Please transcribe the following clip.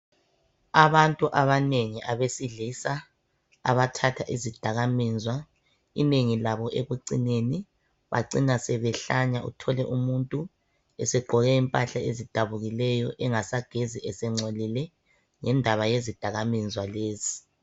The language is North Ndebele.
Abantu abaningi abesilisa abathatha izidaka mizwa inengi labo ekucineni bacina esehlanya uthole umuntu esegqoke impahla ezidabukileyo engasagezi esengcolile ngendaba yezidakamizwa lezi